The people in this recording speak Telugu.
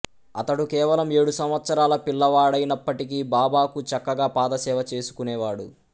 అతడు కేవలం ఏడు సంవత్సరాల పిల్లవాడైనప్పటికీ బాబాకు చక్కగా పాదసేవ చేసుకునేవాడు